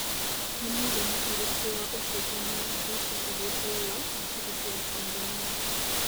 ni mũigana ũrĩkũ wa ũcenjanĩa mbeca harĩ dola na cĩrĩngĩ ya Tanzania